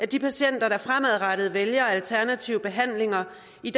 de patienter der fremadrettet vælger alternative behandlinger